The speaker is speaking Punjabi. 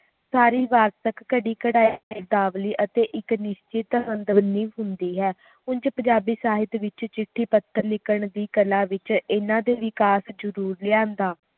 ਸਾਰੀ ਵਾਰਤਕ ਘੜੀ ਘੜਾਈ ਸ਼ਬਦਾਵਲੀ ਅਤੇ ਨੈਤਿਕ ਹੁੰਦੀ ਹੈ ਉਂਝ ਪੰਜਾਬੀ ਸਾਹਿਤ ਵਿਚ ਚਿੱਠੀ ਪੱਥਰ ਲਿਖਣ ਦੀ ਕਲਾ ਵਿਚ ਹਨ ਦੇ ਵਿਕਾਸ ਜ਼ਰੂਰ ਲਿਆਂਦਾ